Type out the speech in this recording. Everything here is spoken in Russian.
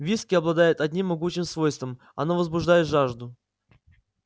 виски обладает одним могучим свойством оно возбуждает жажду